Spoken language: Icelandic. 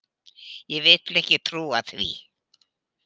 Ég vil ekki trúa því.